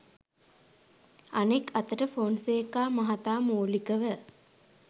අනෙක් අතට ෆොන්සේකා මහතා මූලිකව